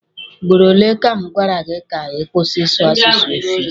Ugboro ole ka m gwara gị ka ị kwụsị ịsụ asụsụ efik?